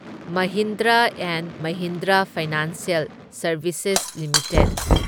Mahindra and Mahindra financial services limited